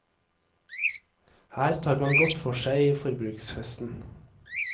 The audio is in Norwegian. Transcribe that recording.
Her tar man godt for seg i forbruksfesten.